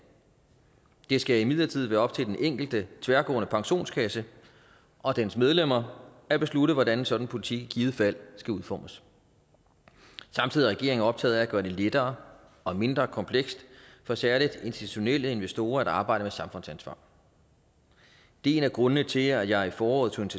det skal imidlertid være op til den enkelte tværgående pensionskasse og dens medlemmer at beslutte hvordan sådan en politik i givet fald skal udformes samtidig er regeringen optaget af at gøre det lettere og mindre komplekst for særligt institutionelle investorer at arbejde med samfundsansvar det er en af grundene til at jeg i foråret tog